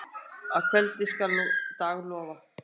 Að kveldi skal dag lofa.